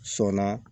Sɔnna